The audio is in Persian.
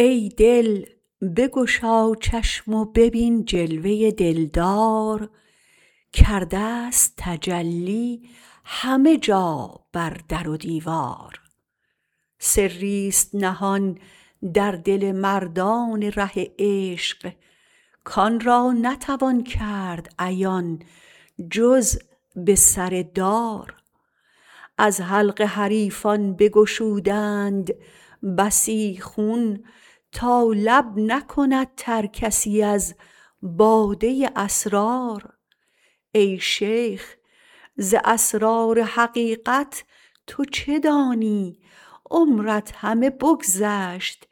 ای دل بگشا چشم و ببین جلوه دلدار کرده است تجلی همه جا بر در و دیوار سریست نهان در دل مردان ره عشق کان را نتوان کرد عیان جز بسردار از حلق حریفان بگشودند بسی خون تا لب نکند ترکسی از باده اسرار ای شیخ ز اسرار حقیقت تو چه دانی عمرت همه بگذشت